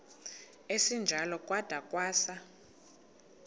esinjalo kwada kwasa